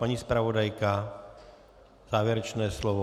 Paní zpravodajka, závěrečné slovo?